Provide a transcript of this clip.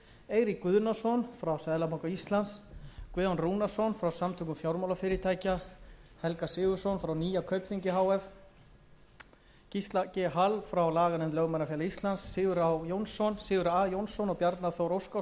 eirík guðnason frá seðlabanka íslands guðjón rúnarsson frá samtökum fjármálafyrirtækja helga sigurðsson frá nýja kaupþingi banka h f gísla g hall frá laganefnd lögmannafélags íslands sigurð a jónsson og bjarna þór óskarsson frá intrum